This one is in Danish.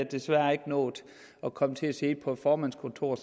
desværre ikke nået at komme til at sidde på et formandskontor